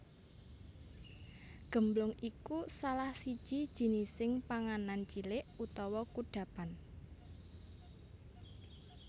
Gemblong iku salah siji jenising panganan cilik utawa kudhapan